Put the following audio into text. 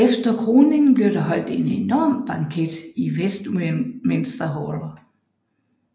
Efter kroningen blev der holdt en enorm banket i Westminster Hall